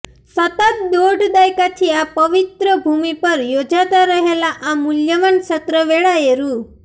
સતત દોઢ દાયકાથી આ પવિત્ર ભૂમિ પર યોજાતા રહેલા આ મૂલ્યવાન સત્ર વેળાએ રૃ